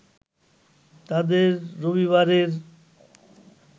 তাদের রবিবারের